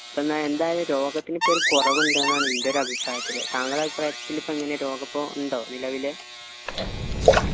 പിന്നെ എന്തായാലും രോഗത്തിന് ഇപ്പൊ കുറവിണ്ട് എന്നാണ് ൻ്റെ ഒരു അഭിപ്രായത്തിൽ താങ്കളുടെ അഭിപ്രായത്തില്ല് ഇപ്പൊ എങ്ങനെയാ രോഗം ഇപ്പൊ ഉണ്ടോ നിലവില്